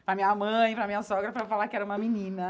Para a minha mãe, para a minha sogra, para falar que era uma menina.